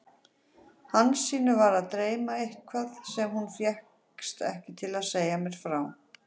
Hansínu var að dreyma eitthvað sem hún fékkst ekki til að segja mér frá.